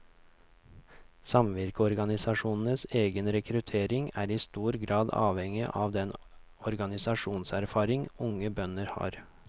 Samvirkeorganisasjonenes egen rekruttering er i stor grad avhengig av den organisasjonserfaring unge bønder har.